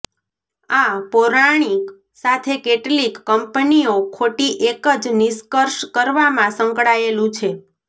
આ પૌરાણિક સાથે કેટલીક કંપનીઓ ખોટી એક જ નિષ્કર્ષ કરવામાં સંકળાયેલું છે